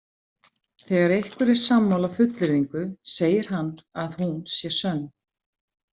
Þegar einhver er sammála fullyrðingu, segir hann að hún sé „sönn“.